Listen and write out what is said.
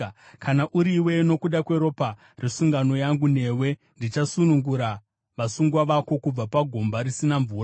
Kana uriwe, nokuda kweropa resungano yangu newe, ndichasunungura vasungwa vako kubva pagomba risina mvura.